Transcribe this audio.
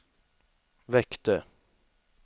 väckte